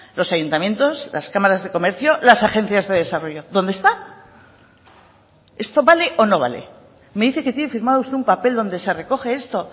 los ayuntamientos las cámaras de comercio las agencias de desarrollo dónde está esto vale o no vale me dice que tiene firmado usted un papel donde se recoge esto